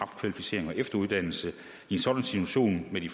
efteruddannelse i en sådan situation med de